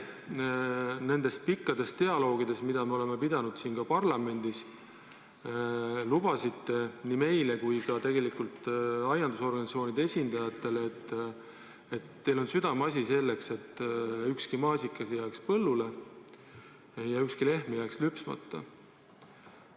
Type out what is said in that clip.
Nendes pikkades dialoogides, mida me siin parlamendis pidasime, te lubasite nii meile kui ka tegelikult aiandusorganisatsioonide esindajatele, et teie südameasi on, et ükski maasikas ei jääks põllule ja ükski lehmi ei jääks lüpsmata.